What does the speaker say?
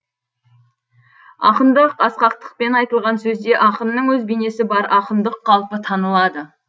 ақындық асқақтықпен айтылған сөзде ақынның өз бейнесі бар ақындық қалпы танылады